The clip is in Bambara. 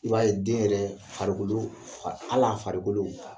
I b'a ye den yɛrɛ farikuduru fa hal'a farikolo